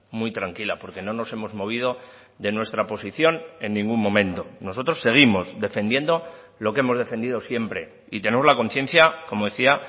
muy tranquila porque no nos hemos movido de nuestra posición en ningún momento nosotros seguimos defendiendo lo que hemos defendido siempre y tenemos la conciencia como decía